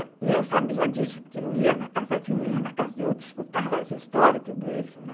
E eu sabia disso, porque eu ia na casa de um, ia na casa de outro, escutava as histórias, tudo isso, né?